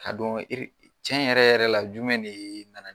Ka dɔn tiɲɛ yɛrɛ yɛrɛ la jumɛn de nana